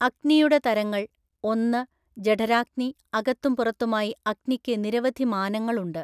അഗ്നിയുടെ തരങ്ങൾ, ഒന്ന്, ജഠരാഗ്നി അകത്തും പുറത്തുമായി അഗ്നിക്ക് നിരവധി മാനങ്ങൾ ഉണ്ട്.